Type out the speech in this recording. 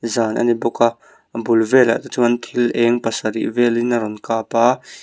zân a ni bawk a a bul vêlah te chuan thil êng pasarih vêlin a rawn kâp a--